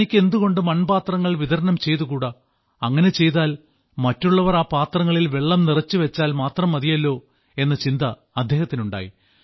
തനിക്ക് എന്തുകൊണ്ട് മൺപാത്രങ്ങൾ വിതരണം ചെയ്തുകൂടാ അങ്ങനെ ചെയ്താൽ മറ്റുള്ളവർ ആ പാത്രങ്ങളിൽ വെള്ളം നിറച്ചുവെച്ചാൽ മാത്രം മതിയല്ലോ എന്ന ചിന്ത അദ്ദേഹത്തിനുണ്ടായി